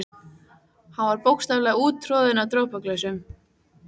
Hann var bókstaflega úttroðinn af dropaglösum.